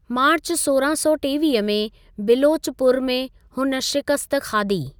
मार्च सौरहां सौ टेवीह में बिलोचपुर में हुन शिकस्त खाधी।